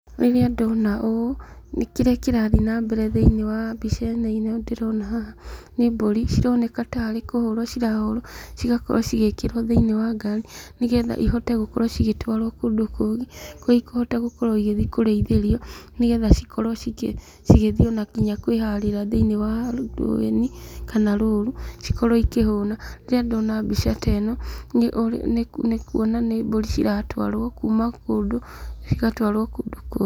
Rĩrĩa ndona ũũ, nĩ kĩrĩa kĩrathiĩ na mbere thĩiniĩ wa mbica ĩno ndĩrona haha, nĩ mbũri cironekana tarĩ kũhũrwo cirahũrwo, cigakorwo cigĩkĩrwo thĩiniĩ wa ngari, nĩgetha ihote gũkorwo igĩtwarwo kũndũ kũngĩ, kũrĩa ikũhota gũthiĩ kũrĩithĩrio, nĩgetha cikorwo ciki thiĩ ona kwĩharĩra thĩiniĩ wa kana rũru cikorwo ikĩhũna, rĩrĩa ndona mbica ta ĩno , nĩkuona nĩ mbũri ciratwaro kuma kũndũ cigatwaro kũndũ kũngĩ.